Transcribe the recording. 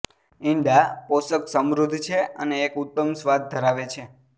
ઇંડા પોષક સમૃદ્ધ છે અને એક ઉત્તમ સ્વાદ ધરાવે છે